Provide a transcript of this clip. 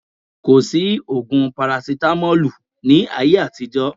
Kò sí ògùn parasitamọ́lù ní ayé àtijọ́